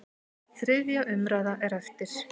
Þriðja umræða er eftir.